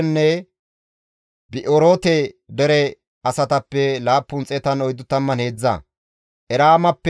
Nebo geetettiza nam7anththo deren diza asatappe 52;